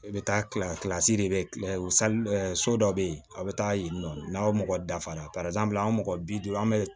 I bɛ taa kila de bɛ kilen so dɔ bɛ yen a bɛ taa yen nɔ n'aw mɔgɔ dafara an mɔgɔ bi duuru an bɛ